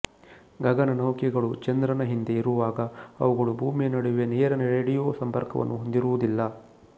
ಗಗನನೌಕೆಗಳು ಚಂದ್ರನ ಹಿಂದೆ ಇರುವಾಗ ಅವುಗಳು ಭೂಮಿಯ ನಡುವೆ ನೇರ ರೇಡಿಯೊ ಸಂಪರ್ಕವನ್ನು ಹೊಂದಿರುವುದಿಲ್ಲ